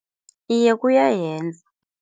Iye, kuyayenza.